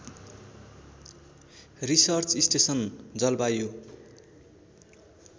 research station जलवायु